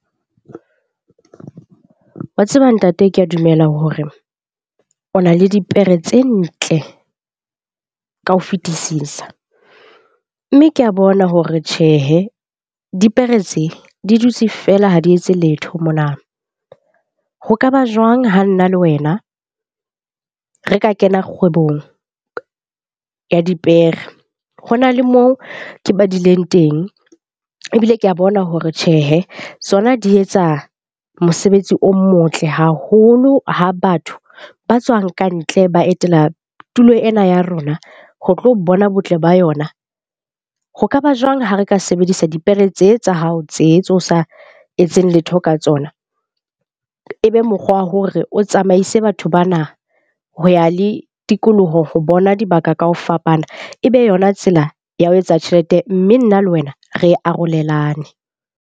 Wa tseba ntate, ke a dumela hore o na le dipere tse ntle ka ho fetisisa. Mme ke ya bona hore tjhehe dipere tse di dutse feela ha di etse letho mona. Ho kaba jwang ha nna le wena re ka kena kgwebong ya dipere? Ho na le mo ke badileng teng ebile ke a bona hore tjhehe sona di etsa mosebetsi o motle haholo, ha batho ba tswang kantle ba etela tulo ena ya rona ho tlo bona botle ba yona. Ho kaba jwang ha re ka sebedisa dipere tse tsa hao tse tse o sa etseng letho ka tsona? E be mokgwa wa hore o tsamaise batho bana ho ya le tikoloho ho bona dibaka ka ho fapana ebe yona tsela ya ho etsa tjhelete, mme nna le wena re arolelane.